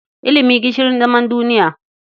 Ilimi gishirin zaman duniya.